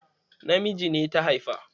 Namiji ne ta haifa?